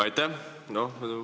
Aitäh!